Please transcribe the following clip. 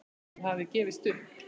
Hann hafði gefist upp.